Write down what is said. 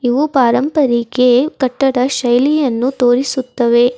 ಇವು ಪಾರಂಪರಿಕೆ ಕಟ್ಟಡ ಶೈಲಿಯನ್ನು ತೋರಿಸುತ್ತವೆ.